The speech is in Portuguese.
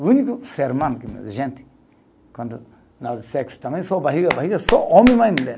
O único ser humano que nem a gente, quando nós sexo também, só barriga, barriga, (bate em algo) só homem, mas, mulher.